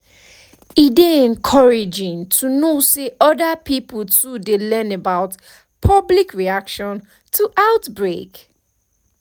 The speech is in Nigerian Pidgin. e dey encouraging to know say other pipo too dey learn about public reaction to outbreak